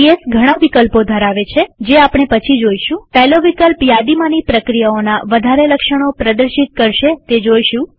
PS ઘણા વિકલ્પો ધરાવે છે જે આપણે પછી જોઈશુંપહેલો વિકલ્પ યાદીમાંની પ્રક્રિયાઓના વધારે લક્ષણો પ્રદર્શિત કરશે તે જોઈશું